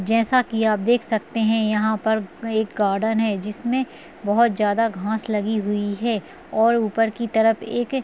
जैसा कि आप देख सकते हैं यहाँ पर एक गार्डन है जिसमें बोहत ज़्यादा घास लगी हुई है और ऊपर की तरफ एक-एक--